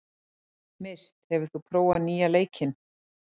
Mist, hefur þú prófað nýja leikinn?